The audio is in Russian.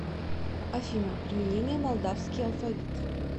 афина применение молдавский алфавит